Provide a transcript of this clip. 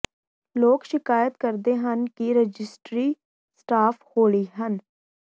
ਲੋਕ ਸ਼ਿਕਾਇਤ ਕਰਦੇ ਹਨ ਕਿ ਰਜਿਸਟਰੀ ਸਟਾਫ ਹੌਲੀ ਹਨ